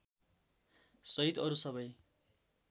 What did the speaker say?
सहित अरु सबै